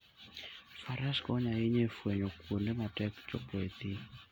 Faras konyo ahinya e fwenyo kuonde matek chopoe e thim.